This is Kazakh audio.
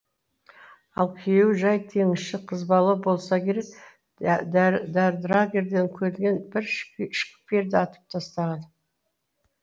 ал күйеуі жай теңізші қызбалау болса керек драгерден келген бір шкиперді атып тастаған